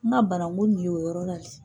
N ka barangu nin ye o yɔrɔ la de.